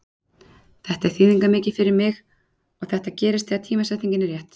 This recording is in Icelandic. Þetta er þýðingarmikið fyrir mig og þetta gerist þegar að tímasetningin er rétt.